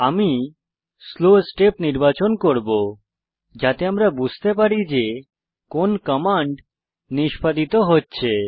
আমি slow step নির্বাচন করব যাতে আমরা বুঝতে পারি যে কোন কমান্ড নিষ্পাদিত হচ্ছে